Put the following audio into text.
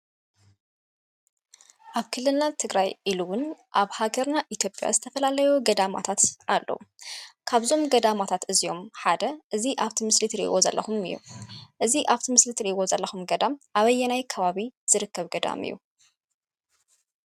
አብ ክልልና ትግራይ ኢሉ እውን አብ ሀገርና ኢትጲያ ዝተፈላለዩ ገዳማት አለው ካብዞመ ገዳማታት እዞኦም ሓደ አብዚ ምሰሊ እትሪኢዎ ዘለኩም እዩ፡፡ እዚ አብዚ ምስሊ እተሪኢዎ ዘለኩም ገዳም አበየና ከባቢ ዝርከብ ገዳም እዩ?